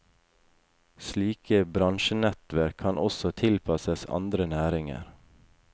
Slike bransjenettverk kan også tilpasses andre næringer.